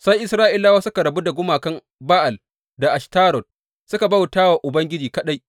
Sai Isra’ilawa suka rabu da gumakan Ba’al da Ashtarot suka bauta wa Ubangiji kaɗai.